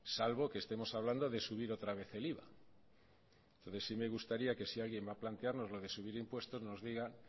salvo que estemos hablando de subir otra vez el iva entonces sí me gustaría que si alguien va a plantearnos lo de subir impuestos nos diga